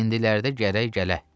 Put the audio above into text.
İndilərdə gərək gələ.